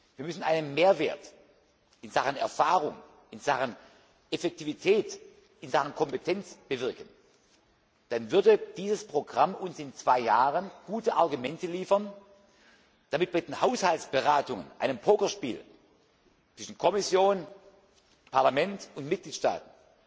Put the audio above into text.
Wir müssen einen Mehrwert in Sachen Erfahrung, in Sachen Effektivität, in Sachen Kompetenz bewirken, dann würde dieses Programm uns in zwei Jahren gute Argumente liefern, damit wir in den Haushaltsberatungen einem Pokerspiel zwischen Kommission, Parlament und Mitgliedstaaten